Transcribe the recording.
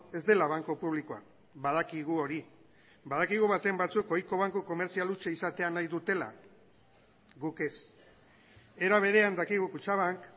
ez dela banku publikoa badakigu hori badakigu baten batzuk ohiko banku komertzial hutsa izatea nahi dutela guk ez era berean dakigu kutxabank